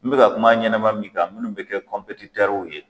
N be ka kuma a ɲɛnɛma min kan minnu be kɛ kɔnpetitɛruw ye